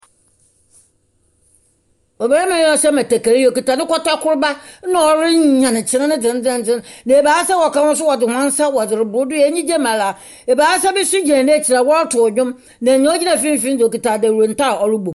Ɔbarima yi a ɔhyɛ batakari yi okita ne kɔtɔkorba, ɛnna ɔreyan kyene dzendzeenden, na ebaasa a wɔka ho nso wɔdze hɔn nsa wɔdze reboro do enigye mu ara. Ebaasa bi nso gyina n'ekyir a wɔroto ndwom, na nea ogyina mfimfini no deɛ, ɔkuta ndawunta a ɔrobom.